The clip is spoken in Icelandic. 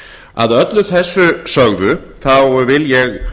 að öllu þessu sögðu vil ég